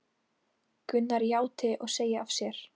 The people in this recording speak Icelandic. Gunnar játi og segi af sér